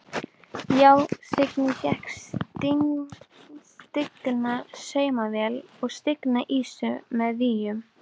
Já: Signý fékk stigna saumavél og signa ýsu með víum.